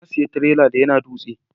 Na saya tirela daya na dutse